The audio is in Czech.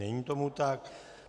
Není tomu tak.